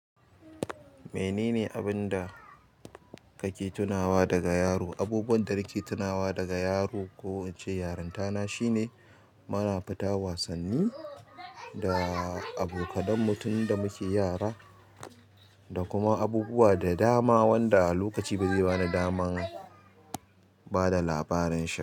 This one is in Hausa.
Menene abun da kake tunawa daga yaro? Abubuwan da nake tunawa daga yaro ko in ce yarinta na shine, muna fita wasanni, da abokanan mu tunda muke yara, da kuma abubuwa da dama wanda lokaci ba zai bani daman bada labarin shi.